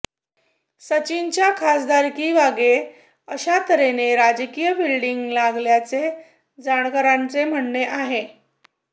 सचिनच्या खासदारकीमागे अशा तर्हेने राजकीय फिल्डींग लागल्याचे जाणकारांचे म्हणणे आहे